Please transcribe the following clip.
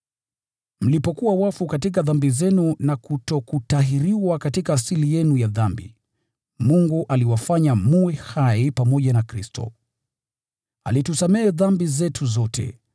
Mlipokuwa wafu katika dhambi zenu na kutokutahiriwa katika asili yenu ya dhambi, Mungu aliwafanya mwe hai pamoja na Kristo. Alitusamehe dhambi zetu zote,